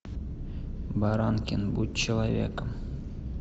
баранкин будь человеком